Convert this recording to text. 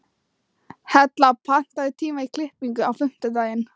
Hella, pantaðu tíma í klippingu á fimmtudaginn.